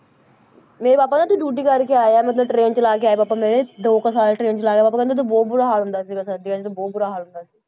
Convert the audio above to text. ਮੇਰੇ ਪਾਪਾ ਨਾ ਉੱਥੇ duty ਕਰਕੇ ਆਏ ਆ, ਮਤਲਬ train ਚਲਾ ਕੇ ਆਏ ਆ ਪਾਪਾ ਮੇਰੇ ਦੋ ਕੁ ਸਾਲ train ਚਲਾਇਆ ਪਾਪਾ ਕਹਿੰਦੇ ਉੱਥੇ ਬਹੁਤ ਬੁਰਾ ਹਾਲ ਹੁੰਦਾ ਸੀ ਜਿਵੇਂ ਸਰਦੀਆਂ 'ਚ ਤਾਂ ਬਹੁਤ ਬੁਰਾ ਹਾਲ ਹੁੰਦਾ ਸੀ,